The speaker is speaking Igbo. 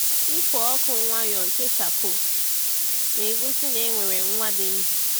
Ịkụ ọkụ nwayọọ nke charcoal na-egosi na e nwere nwa dị ndụ.